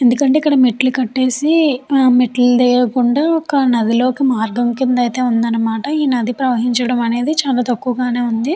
ఎందుకంటే ఇక్కడ మెట్లు కట్టేసి మెట్లు లేకుండా ఒక నది లోకి మార్గం కింద అయితే ఉంది అనమాట ఈ నది ప్రవహించటం అనేది చాలా తక్కువగానే చాలా ఉంది.